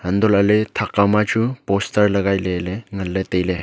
hantohley thakkau ma chu poster lagai ley ley nganley tailey.